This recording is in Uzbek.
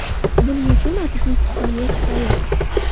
Buning uchun atigi ikki soniya kifoya.